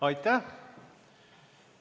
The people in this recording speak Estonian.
Aitäh!